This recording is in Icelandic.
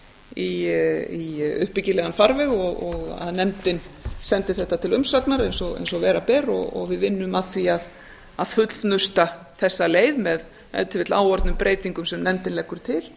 í uppbyggilegan farveg og að nefndin sendi þetta til umsagnar eins og vera ber og við vinnum að því að fullnusta þessa leið með ef til vill áorðnum breytingum sem nefndin leggur til